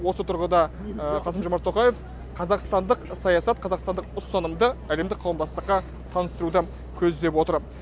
осы тұрғыда қасым жомарт тоқаев қазақстандық саясат қазақстандық ұстанымды әлемді қауымдастыққа таныстыруды көздеп отыр